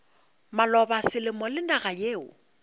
maloba selemo le naga yeo